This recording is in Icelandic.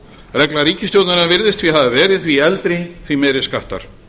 regla ríkisstjórnarinnar virðist því hafa verið því eldri því meiri skattar